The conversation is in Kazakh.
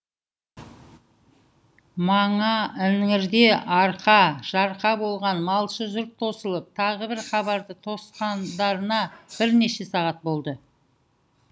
мана іңірде арқа жарқа болған малшы жұрт тосылып тағы бір хабарды тосқандарына бірнеше сағат болды